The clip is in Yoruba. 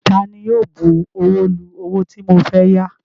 Taani yóò bu ọwọ́ lu owó tí mo fẹ́ yá?